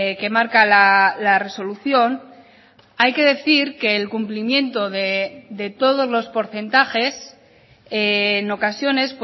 que marca la resolución hay que decir que el cumplimiento de todos los porcentajes en ocasiones